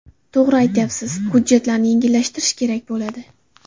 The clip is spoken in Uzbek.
To‘g‘ri aytyapsiz, hujjatlarni yengillashtirish kerak bo‘ladi.